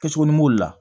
Kɛsu ni b'o la